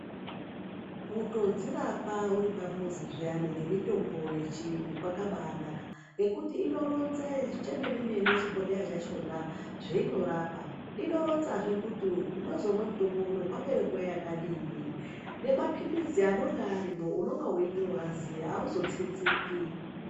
Kutodzirapa uri pamuzi zviyani ngemitombo yechiyungu kwakabanaka. Ngekuti inoronze chemene-mene chibhodhleya chachona zveinorapa. Inoronzazve kuti unozomwe mutombo uno kwapera nguva yakadini nemaphirizi anonga arimwo unonga veitoaziya hauzotsinziki.